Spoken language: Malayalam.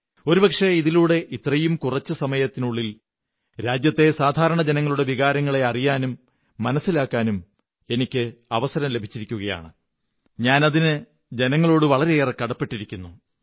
ഒരുപക്ഷേ ഇതിലൂടെ ഇത്രയും കുറച്ചു സമയത്തിനുള്ളിൽ രാജ്യത്തെ സാധാരണ ജനങ്ങളുടെ വികാരങ്ങളെ അറിയാനും മനസ്സിലാക്കാനും എനിക്ക് അവസരം ലഭിച്ചിരിക്കുകയാണ് അതിന് ഞാൻ ജനങ്ങളോട് വളരെയേറെ കടപ്പെട്ടിരിക്കുന്നു